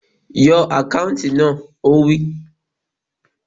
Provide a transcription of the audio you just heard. Yọ àkáùntì náà! Ó wí